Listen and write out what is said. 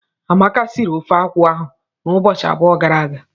Amaka sịrị ofeakwụ ahụ n'ụbọchị abụọ gara aga.